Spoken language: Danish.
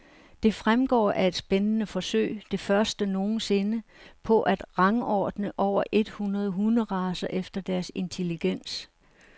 Det fremgår af et spændende forsøg, det første nogensinde, på at rangordne over et hundrede hunderacer efter deres intelligens.